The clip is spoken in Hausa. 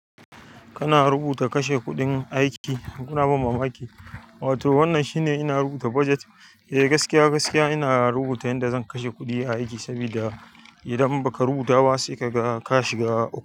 Kana rubuta kashe kuɗin aiki, kuna ban mama aiki. Wato wannan shine ina rubuta baget. Eh gaskiya gaskiya ina rubuta yadda zan kashe kuɗi a aki sabida idan baka rubuta ba sai kaga ka shiga uku.